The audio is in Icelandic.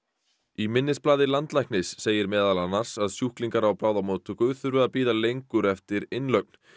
í minnisblaði landlæknis segir meðal annars að sjúklingar á bráðamóttöku þurfi að bíða lengur eftir innlögn